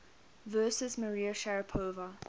versus maria sharapova